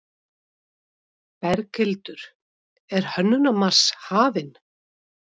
Berghildur, er Hönnunarmars hafinn?